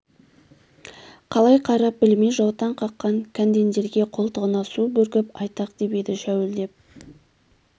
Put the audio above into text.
қалай қарап білмей жаутаң қаққан кәндендерге қолтығына су бүркіп айтақ деп еді шәуілдеп